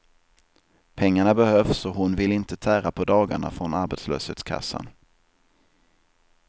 Pengarna behövs och hon vill inte tära på dagarna från arbetslöshetskassan.